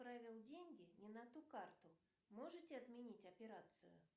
отправил деньги не на ту карту можете отменить операцию